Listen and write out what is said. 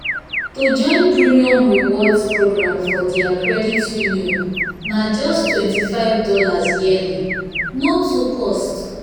to join premium rewards program for their credit union na justtwenty five dollarsyearly—no too cost.